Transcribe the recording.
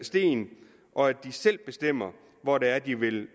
sten og at de selv bestemmer hvor det er de vil